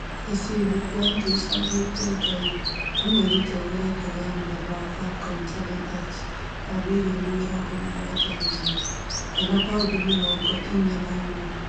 Jesse Duplantis augĩte Ngai amwĩrĩte agũre ndege ya mũthemba wa Falcon 7x ya mirioni mĩrongo mũgwanja na inya kana paundi mĩrongo inya na ĩ mwe